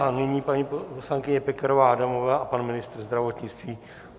A nyní paní poslankyně Pekarová Adamová a pan ministr zdravotnictví.